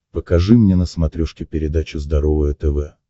покажи мне на смотрешке передачу здоровое тв